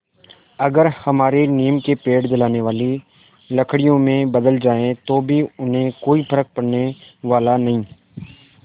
अगर हमारे नीम के पेड़ जलाने वाली लकड़ियों में बदल जाएँ तो भी उन्हें कोई फ़र्क पड़ने वाला नहीं